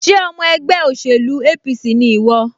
Ṣé ọmọ ẹgbẹ́ òṣèlú APC ni ìwọ?